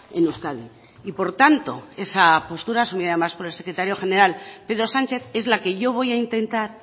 en euskadi y por tanto esa postura asumida por el secretario general pedro sánchez es la que yo voy a intentar